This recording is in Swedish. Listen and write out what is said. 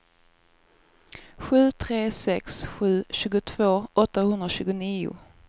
sju tre sex sju tjugotvå åttahundratjugonio